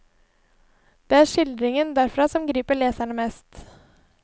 Det er skildringen derfra som griper leseren mest.